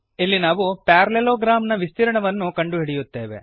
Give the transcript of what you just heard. ಇಲ್ಲಿ ನಾವು ಪ್ಯಾರಲೆಲೊಗ್ರ್ಯಾಮ್ ನ ವಿಸ್ತೀರ್ಣವನ್ನು ಕಂಡುಹಿಡಿಯುತ್ತೇವೆ